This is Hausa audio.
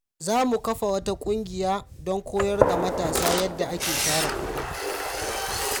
Za mu kafa wata kungiya don koyar da matasa yadda ake tara kudi.